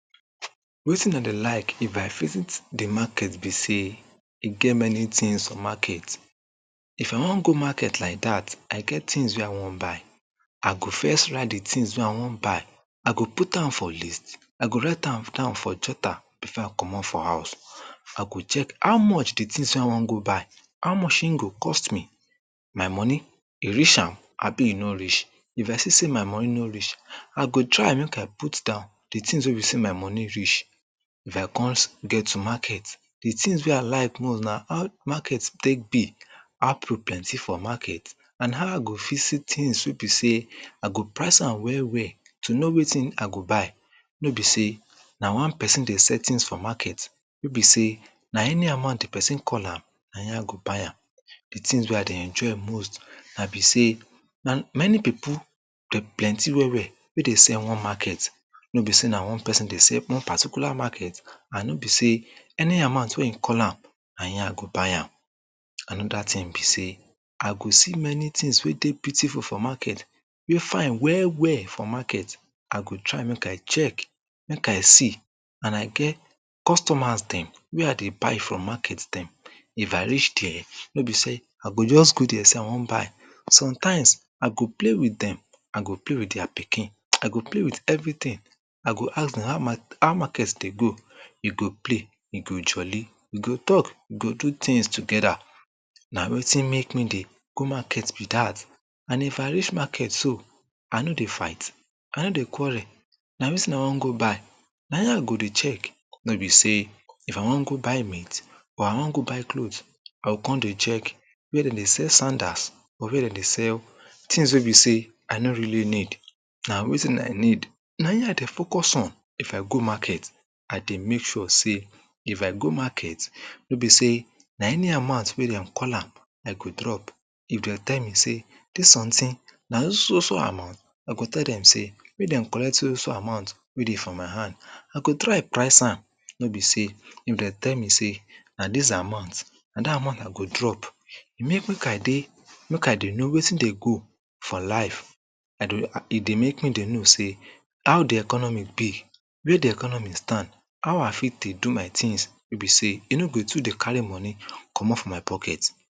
Wetin dem I de like if I visit de market be sey e get many tins for market. If I wan go market like dat, I get tins I wan buy, I go first write de tins wey I wan buy, I go put am for list, I go write am down for jotter before I comot for house. I go check how much de tins wey I wan go buy, how much e go cost me? My moni, e reach am? Abi e no reach? If I see sey my moni no reach I go try make I put down de tins wey be sey my moni reach. If I kon get to market, de tins wey I like most na how de market take be. How pipo plenty for market? And how I go fit see tins wey be sey I go price am well well to no wetin I go buy. No be sey, na one pesin dey sell tins for market, wey be sey na any amount de pesin call am na e I go buy am. De tins wey I dey enjoy most na be sey, na many pipo dem plenty well, well wey dey sell one market. No be sey na one pesin wey dey sell one particular market. And no be sey any amount wey e call am, na e I go buy am. Anoda tin be sey, I go many tins wey dey beautiful for market, wey fine well, well for market. I go try make I check, make I see, and I get customers dem wey I dey buy from market dem. If I reach der, wey be sey I go just go der sey I wan buy. Sometimes I go play with dem, I go play with dia pikin, I go play with everytin. I go ask dem, how market, how market de go? We go play, we go jolly, we go talk, we go do tins togeda. Na wetin make me dey go market be dat. And if I reach market so, I no dey fight, I no de quarrel, na wetin I wan go buy, na e I go de check, no sey if I wan go buy meat or I wan go buy cloth, I go kon dey check wey dem dey sell sandas or wey dem dey sell tins wey be sey I no really need. Na wetin I need, na e I dey focus on, if I go market, I dey make sure sey, if I go market, wey be sey na any amount wey dem call am, I go drop. If dem tell me sey dis somtin na so so so so amount, I go tell dem sey, make dem collect so so so so amount wey dey for my hand. I go try price am, no be sey if dem tell me sey na dis amount, na dat amount I go drop. You mean make I dey, make I dey no wetin dey go for life. e dey make me dey no sey how de economy be, wia de economy stand, how I fit dey do my tins, wey be sey, e no go too dey carry moni comot for my pocket.